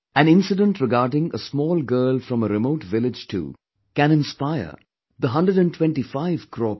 An incident regarding a small girl from a remote village too can inspire the hundred and twenty five crore people